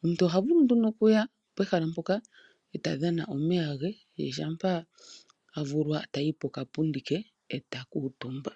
Omuntu oha vulu nduno okuya pehala mpoka eta dhana omeya ge shampa avulwa tayi pokapundi ke eta kuutumba.